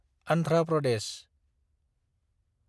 Andhra Pradesh